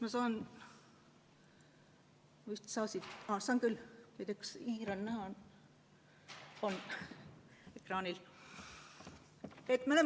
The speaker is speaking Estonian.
Ma ei tea, kas hiirenool on ekraanil näha.